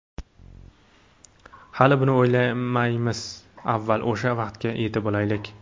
Hali buni o‘ylamaymiz, avval o‘sha vaqtga yetib olaylik.